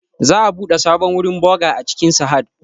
Za'a buɗe sabon wurin boğa a cikin Sahad